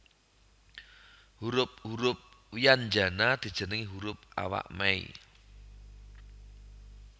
Hurup hurup wyanjana dijenengi hurup awak mei